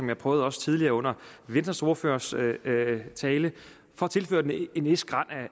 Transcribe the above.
jeg prøvede også tidligere under venstres ordførers tale en vis grad